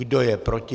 Kdo je proti?